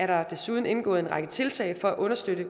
der desuden indgået en række tiltag for at understøtte